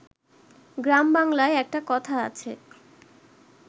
গ্রাম বাংলায় একটা কথা আছে